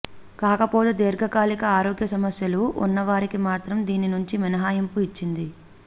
కాకపోతే దీర్ఘకాలిక ఆరోగ్య సమస్యలు ఉన్నవారికి మాత్రం దీని నుంచి మినహాయింపు ఇచ్చింది